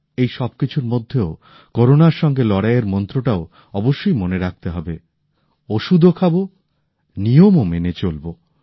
এই সব কিছুর মধ্যেও করোনার সঙ্গে লড়াইয়ের মন্ত্রটাও অবশ্যই মনে রাখতে হবে ওষুধও খাবো নিয়মও মেনে চলবো